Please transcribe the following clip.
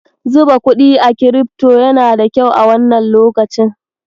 Zuba kuɗi a kirifto yana da kyau a wannan lokacin.